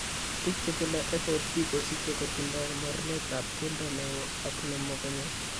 Biik che tindo FOP ko kisiche kotindo moorneetap keldo ne oo ak nemokonye.